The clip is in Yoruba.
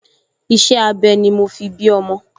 Iṣẹ́-abẹ ni mo fi bí ọmọ